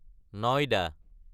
নইদা